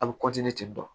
A bɛ ten tɔ